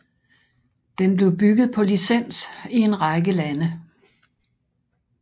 Den blev bygget på licens i en række lande